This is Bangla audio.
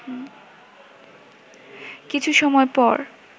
কিছু সময় পর